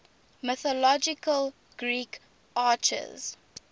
mythological greek archers